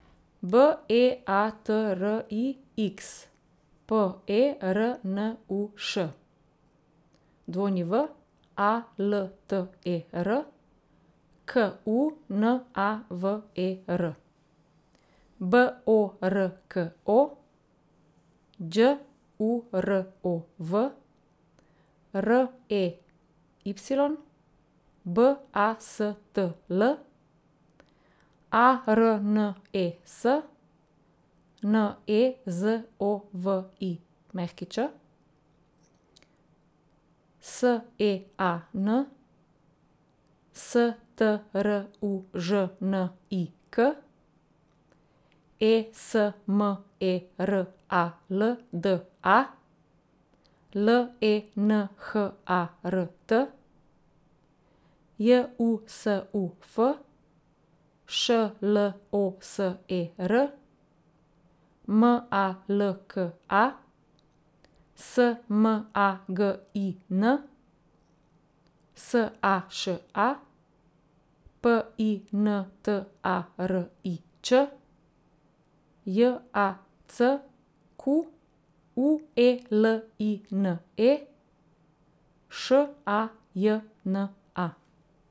B E A T R I X, P E R N U Š; W A L T E R, K U N A V E R; B O R K O, Đ U R O V; R E Y, B A S T L; A R N E S, N E Z O V I Ć; S E A N, S T R U Ž N I K; E S M E R A L D A, L E N H A R T; J U S U F, Š L O S E R; M A L K A, S M A G I N; S A Š A, P I N T A R I Č; J A C Q U E L I N E, Š A J N A.